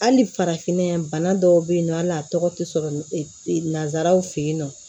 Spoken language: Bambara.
Hali farafinna yan bana dɔw bɛ yen nɔ hali a tɔgɔ tɛ sɔrɔ nanzararaw fɛ yen nɔ